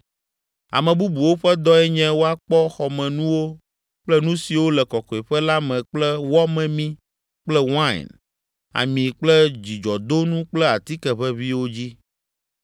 Ame bubuwo ƒe dɔe nye woakpɔ xɔmenuwo kple nu siwo le Kɔkɔeƒe la me kple wɔ memi kple wain, ami kple dzudzɔdonu kple atike ʋeʋĩwo dzi.